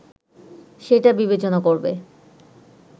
সেটা বিবেচনা করবে